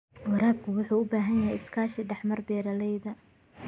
Waraabka wuxuu u baahan yahay iskaashi dhex mara beeralayda.